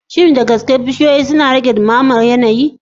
Shin da gaske bishiyoyi suna rage dumamar yanayi?